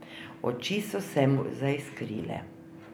Oči so se mu zaiskrile.